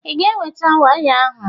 Ị ga-eweta waya ahụ?